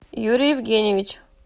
юрий евгениевич